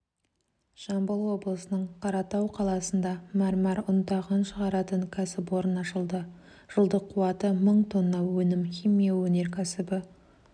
жамбыл облысының қаратау қаласында мәрмәр ұнтағын шығаратын кәсіпорын ашылды жылдық қуаты мың тонна өнім химия өнеркәсібі